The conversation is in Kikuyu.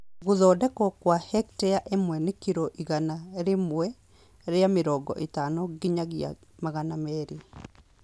Gũthondekwo gwa Hektare ĩmwe nĩ kiro igana rĩmwe rĩa mĩrongo ĩtano nginya magana merĩ